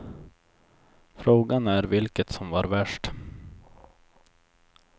Frågan är vilket som var värst.